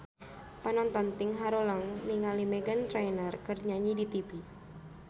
Panonton ting haruleng ningali Meghan Trainor keur nyanyi di tipi